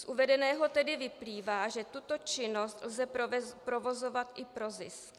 Z uvedeného tedy vyplývá, že tuto činnost lze provozovat i pro zisk.